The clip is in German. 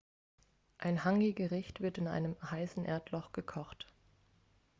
ein hāngi-gericht wird in einem heißen erdloch gekocht